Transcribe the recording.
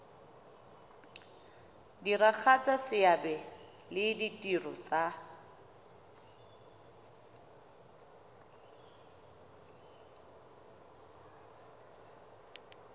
diragatsa seabe le ditiro tsa